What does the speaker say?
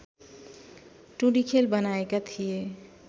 टुँडिखेल बनाएका थिए